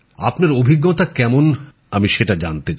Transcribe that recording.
আপনার অভিজ্ঞতা কেমন জানতে চাই